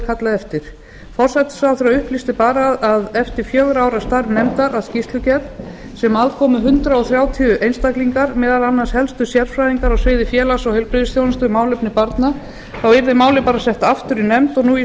kallað eftir forsætisráðherra upplýsti bara að eftir fjögurra ára starf nefndar að skýrslugerð sem að komu hundrað þrjátíu einstaklingar meðal annars helstu sérfræðingar á sviði félags og heilbrigðisþjónustu um málefni barna þá yrði málið bara sett aftur í nefnd og nú í